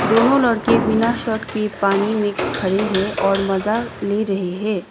दोनों लड़के बिना शर्ट के पानी मे खड़े है और मजा ले रहे है।